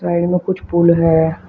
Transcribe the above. Side में कुछ pool है।